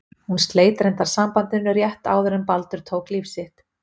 Hún sleit reyndar sambandinu rétt áður en Baldur tók líf sitt.